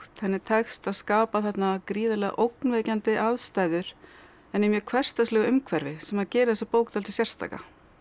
henni tekst að skapa þarna gríðarlega ógnvekjandi aðstæður en í mjög hversdagslegu umhverfi sem gerir þessa bók dálítið sérstaka